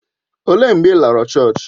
Ọ léé mgbe ị lọrọ chọọchị?